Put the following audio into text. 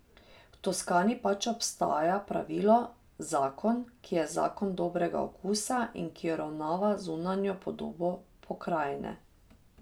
V Toskani pač obstaja pravilo, zakon, ki je zakon dobrega okusa in ki uravnava zunanjo podobo pokrajine.